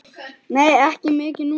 Nei, ekki mikið núna.